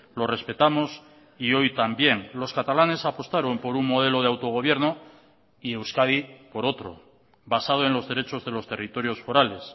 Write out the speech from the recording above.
lo respetamos y hoy también los catalanes apostaron por un modelo de autogobierno y euskadi por otro basado en los derechos de los territorios forales